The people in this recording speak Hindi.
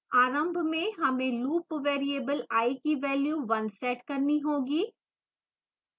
आरंभ में हमें loop variable i की value 1 set करनी होगी